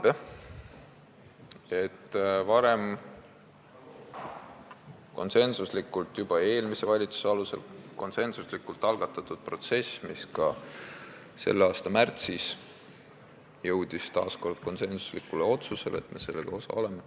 See protsess algatati konsensuslikult juba eelmise valitsuse ajal ja ka selle aasta märtsis jõuti taas kord konsensuslikule otsusele, et me oleme selle raamistiku osapool.